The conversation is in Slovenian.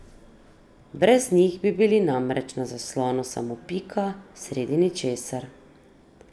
Brez njih bi bili namreč na zaslonu samo pika sredi ničesar.